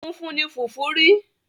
Funfun ni fùfú ri.